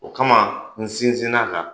O kama, n sinsin la